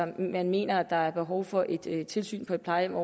man mener at der er behov for et tilsyn på et plejehjem